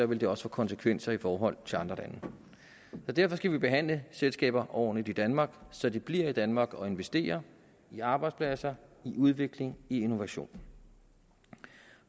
ville det også få konsekvenser i forhold til andre lande derfor skal vi behandle selskaber ordentligt i danmark så de bliver i danmark og investerer i arbejdspladser i udvikling i innovation